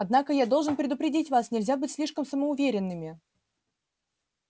однако я должен предупредить вас нельзя быть слишком самоуверенными